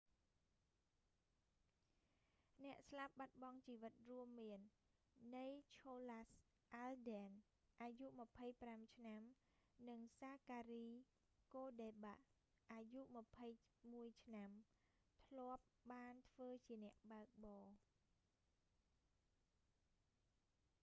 អ្នកស្លាប់បាត់បង់ជីវិត រួមមាន ណីឆូឡាស់ អាលដែន nicholas alden អាយុ 25 ឆ្នាំ និង សាការី កូដេបាក់ zachary cuddeback អាយុ 21 ឆ្នាំ cuddeback ធ្លាប់បានធ្វើជាអ្នកបើកបរ